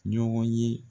Ɲɔgɔn ye